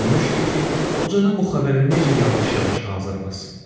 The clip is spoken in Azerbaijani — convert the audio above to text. Düşünmüşdü ki, qocanı bu xəbərə necə yavaş-yavaş hazırlasın.